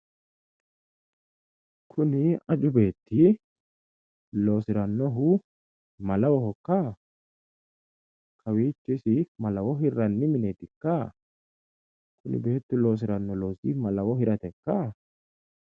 Kuni aju beetti loosirannohu malawohokka? Kawiicho isi malawo hirranni mineetikka? Kuni beettu loosiranno loosi malawo hiratekka?